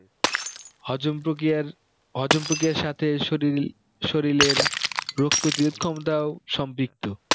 হজম প্রক্রিয়ার হজম প্রক্রিয়ার সাথে শরীর শরীরের রোগ প্রতিরোধ ক্ষমতাও সম্বিক্ত